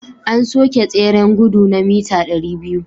An soke tseren gudu na mita 200